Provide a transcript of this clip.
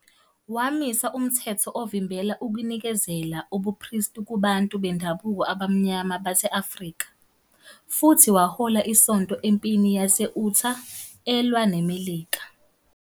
Wamisa umthetho ovimbela ukunikezela ubupristi kubantu bendabuko abamnyama base-Afrika, futhi wahola isonto empini yase- Utah elwa neMelika.